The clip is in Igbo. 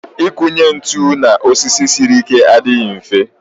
Ịkụnye ntụ n'osisi siri ike adịghị mfe